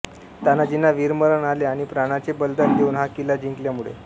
तानाजींना वीरमरण आले आणि प्राणाचे बलीदान देऊन हा किल्ला जिंकल्यामुळे